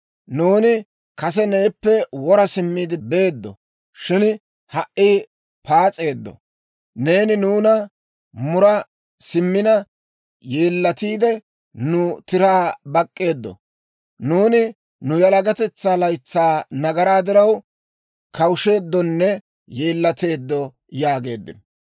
Nuuni kase neeppe wora simmiide beeddo; shin ha"i paas'eeddo. Neeni nuuna mura simmina yeellatiide, nu tiraa bak'k'eeddo; nuuni nu yalagatetsaa laytsaa nagaraa diraw, kawusheeddonne yeellateeddo› yaageeddino.